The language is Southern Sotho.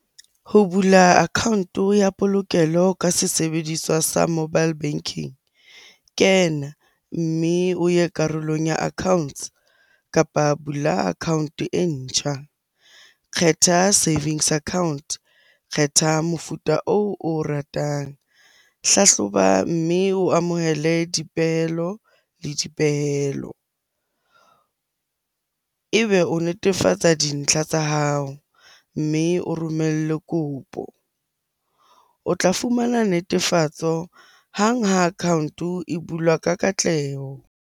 Ho bula account-o ya polokelo ka se sebediswa sa mobile banking. Kena, mme o ye karolong ya accounts kapa bula account-e e ntjha. Kgetha savings account, kgetha mofuta oo o ratang. Hlahloba, mme o amohele dipehelo le dipehelo. Ebe o netefatsa dintlha tsa hao mme o romellwe kopo. O tla fumana netefatso hang ha account-o e bulwa ka katleho.